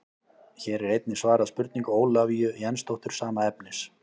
Hér er einnig svarað spurningu Ólafíu Jensdóttur sama efnis.